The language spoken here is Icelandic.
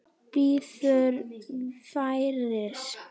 Bíður færis.